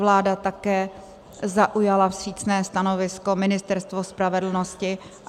Vláda také zaujala vstřícné stanovisko, Ministerstvo spravedlnosti.